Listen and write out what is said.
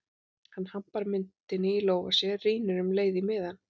Hann hampar myntinni í lófa sér, rýnir um leið í miðann